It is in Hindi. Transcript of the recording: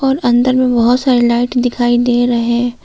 अंदर में बहोत सारी लाइट दिखाई दे रहे।